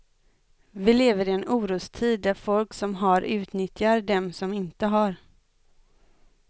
Vi lever i en orostid där folk som har utnyttjar dem som inte har.